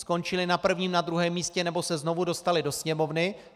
Skončily na prvním, na druhém místě nebo se znovu dostaly do Sněmovny.